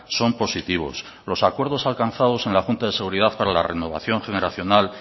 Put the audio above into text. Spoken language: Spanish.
son positivos los acuerdos alcanzados en la junta de seguridad para la renovación generacional